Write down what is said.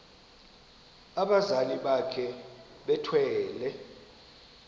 abazali bakhe bethwele